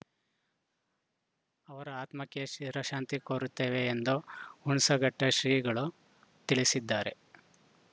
ಅವರ ಆತ್ಮಕ್ಕೆ ಚಿರಶಾಂತಿ ಕೋರುತ್ತೇವೆ ಎಂದು ಹುಣಸಘಟ್ಟಶ್ರೀಗಳು ತಿಳಿಸಿದ್ದಾರೆ